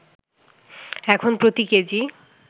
এখন প্রতি কেজি